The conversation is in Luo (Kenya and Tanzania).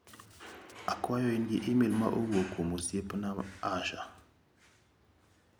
Akwayo ing'i imel ma owuok kuom osiepna Asha.